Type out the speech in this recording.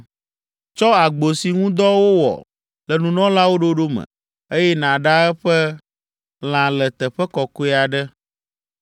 “Tsɔ agbo si ŋu dɔ wowɔ le nunɔlawo ɖoɖo me, eye nàɖa eƒe lã le teƒe kɔkɔe aɖe.